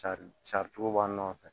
Cari sari cogo b'an nɔfɛ